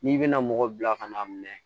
N'i bɛna mɔgɔ bila ka na mɛn